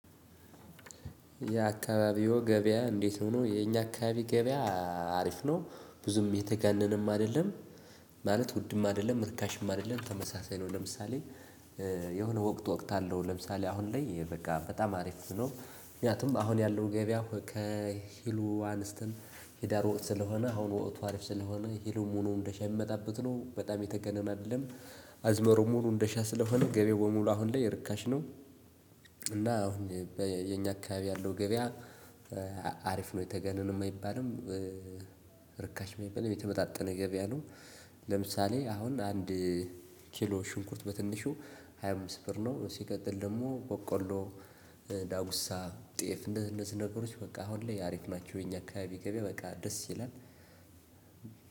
የአካባቢው ገበያ እንዴት ሆኖ የኛ አካባቢ ገበያ አሪፍ ነው ብዙም የተጋነነም አይደለም ማለት ውድም አደለም ርካሽም አደለም ተመሳሳይ ነው። ለምሳሌ የሆነ ወቅት ወቅት አለው ለምሳሌ አሁን ላይ በቃ በጣም አሪፍ ነው ምክንያቱም አሁን ያለው ገበያ ከሂሉ አንስትን ሂዳር ወእት ስለሆነ አሁን ወእቱ አሪፍ ስለሆነ ሂሉ ሙሉ እንደሻይ የሚመጣበት ነው በጣም የተገነነ አይደለም። አዝመሩ ሙሉ እንደሻ ስለሆነ ገበያው በሙሉ አሁን ላይ ርካሽ ነው። እና አሁን በየኛ አካባቢ ያለው ገበያ። አሪፍ ነው የተጋነነም አይባልም። ርካሽም የማይበልም የተመጣጠነ ገበያ ነው። ለምሳሌ አሁን አንድ ኪሎ ሽንኩርት በትንሹ ሃያ አምስት ብር ነው ሲቀጥል ደግሞ በቆሎ ዳጉሳ ጤፍ እንደዚህ እንደዚህ ነገሮች በቃ አሁን ላይ አሪፍ ናቸው። እኛ አካባቢ በቃ ደስ ይላል።